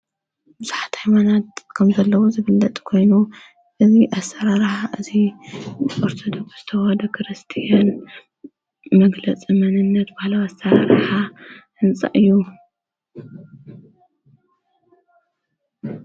ብዙሓት ሃኣይማናት ከም ዘለዉ ዝብለጥ ኮይኑ እዙይ ኣሠረረሓ እዙይ ወርተደ ፍስተዋደ ክርስቲን መግለጽ መንነት ብሃለ ኣሠረረሓ እንፅእ እዩ።